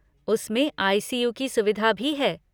उसमें आई.सी.यू. की सुविधा भी है।